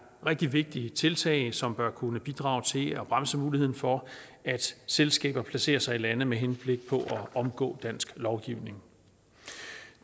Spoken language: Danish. rigtig vigtige tiltag som bør kunne bidrage til at bremse muligheden for at selskaber placerer sig i lande med henblik på at omgå dansk lovgivning